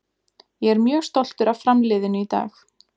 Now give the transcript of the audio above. Ég er mjög stoltur af Fram liðinu í dag.